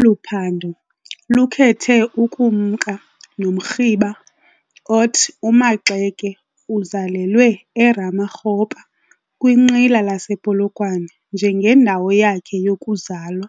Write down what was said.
Olu phando lukhethe ukumka nomrhiba othi uMaxeke uzalelwe eRamakgopa kwinqila lasePolokwane njengendawo yakhe yokuzalwa